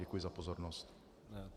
Děkuji za pozornost.